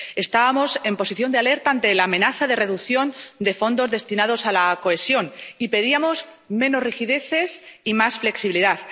Estábamos en posición de alerta ante la amenaza de reducción de fondos destinados a la cohesión y pedíamos menos rigideces y más flexibilidad.